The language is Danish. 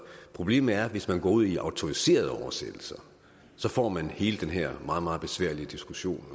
problemet er at hvis man går ud i autoriserede oversættelser får man hele den her meget meget besværlige diskussion